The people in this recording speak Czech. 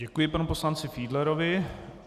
Děkuji panu poslanci Fiedlerovi.